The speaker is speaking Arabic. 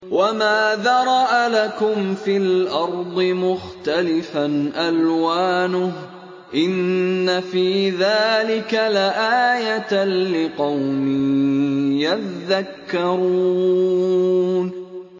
وَمَا ذَرَأَ لَكُمْ فِي الْأَرْضِ مُخْتَلِفًا أَلْوَانُهُ ۗ إِنَّ فِي ذَٰلِكَ لَآيَةً لِّقَوْمٍ يَذَّكَّرُونَ